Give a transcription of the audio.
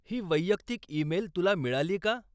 ही वैयक्तिक ईमेल तुला मिळाली का?